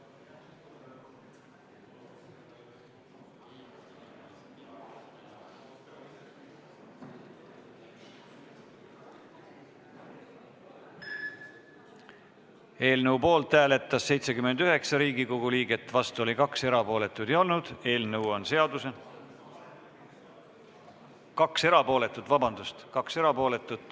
Hääletustulemused Eelnõu poolt hääletas 79 Riigikogu liiget, vastu oli 2, erapooletuid 2.